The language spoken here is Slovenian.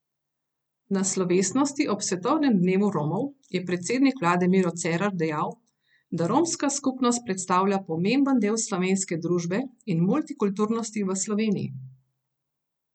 Na slovesnosti ob svetovnem dnevu Romov je predsednik vlade Miro Cerar dejal, da romska skupnost predstavlja pomemben del slovenske družbe in multikulturnosti v Sloveniji.